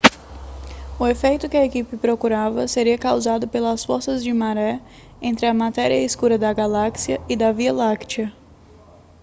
o efeito que a equipe procurava seria causado pelas forças de maré entre a matéria escura da galáxia e da via láctea